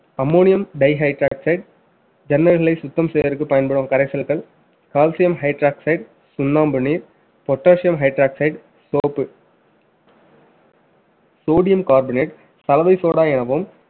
ammonium dihoxide ஜன்னல்களை சுத்தம் செய்வதற்கு பயன்படும் கரைசல்கள் calcium hydroxide சுண்ணாம்பு நீர் potassium hydroxide soap sodium carbonate சலவை சோடா எனவும்